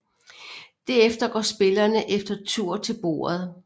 Derefter går spillerne efter tur til bordet